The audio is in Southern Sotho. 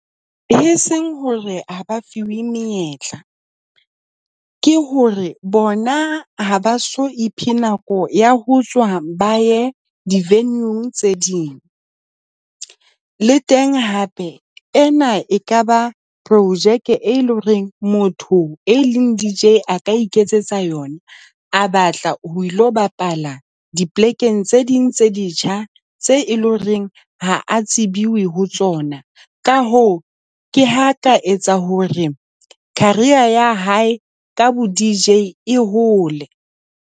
E seng hore ha ba fiwe menyetla, ke hore bona ha ba so iphe nako ya ho tswa ba ye di-venue-ng tse ding. Le teng hape ena ekaba projeke, e leng hore motho e leng D_J a ka iketsetsa yona, a batla ho ilo bapala dipolekeng tse ding tse ditjha tse loreng ha a tsebiwe ho tsona. Ka hoo, ke ha ka etsa hore career ya hae ka boD_J e hole.